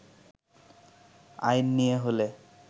আইন নিয়ে হলে